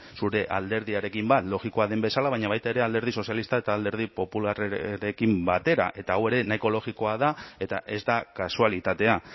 zure alderdiarekin bat logikoa den bezala baina baita ere alderdi sozialista eta alderdi popularrarekin batera eta hau ere nahiko logikoa da eta ez da kasualitatea